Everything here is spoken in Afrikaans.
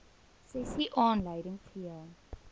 sessie aanleiding gegee